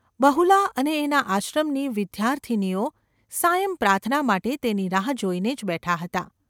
બહુલા અને એના આશ્રમની વિદ્યાર્થિનીઓ સાયં પ્રાર્થના માટે તેની રાહ જોઈને જ બેઠાં હતાં.